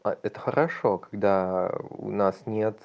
а это хорошо когда у нас нет